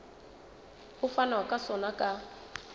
ho fanwa ka sona ka